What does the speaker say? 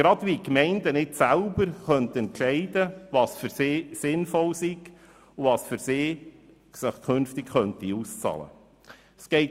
gerade so, als ob die Gemeinden nicht selber entscheiden könnten, was sinnvoll ist und was sich auszahlen dürfte.